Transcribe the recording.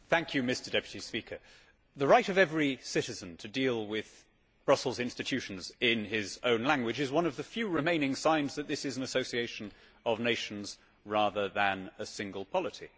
Mr President, the right of every citizen to deal with Brussels institutions in his own language is one of the few remaining signs that this is an association of nations rather than a single polity.